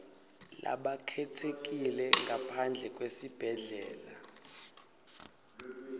labakhetsekile ngaphandle kwesibhedlela